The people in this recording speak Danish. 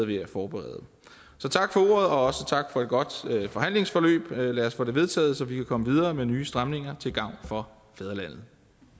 ved at forberede så tak for også tak for et godt forhandlingsforløb lad os få det vedtaget så vi kan komme videre med nye stramninger til gavn for fædrelandet